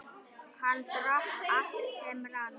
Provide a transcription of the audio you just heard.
Hann drakk allt sem rann.